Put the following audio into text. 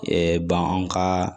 bananw ka